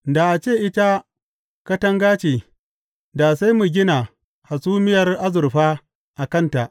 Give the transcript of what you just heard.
Da a ce ita katanga ce, da sai mu gina hasumiyar azurfa a kanta.